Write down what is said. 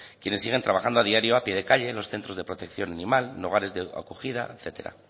quienes siguen trabajando a diario a pie de calle en los centros de protección animal en hogares de acogida etcétera